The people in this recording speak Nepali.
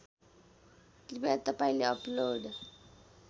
कृपया तपाईँले अपलोड